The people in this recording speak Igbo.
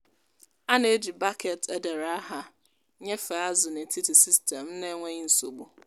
anyị na-eji baket e dere aha nyefe azụ n’etiti sistemụ n’enweghị nsogbu.